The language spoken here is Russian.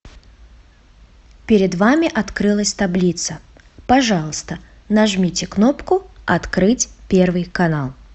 перед вами открылась таблица пожалуйста нажмите кнопку открыть первый канал